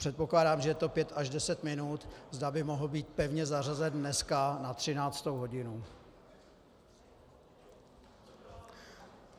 Předpokládám, že to je pět až deset minut, zda by mohl být pevně zařazen dneska na 13. hodinu.